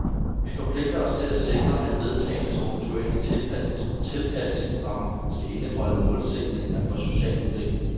Vi forpligter os til at sikre, at vedtagne strukturelle tilpasningsprogrammer skal indeholde målsætninger for social udvikling.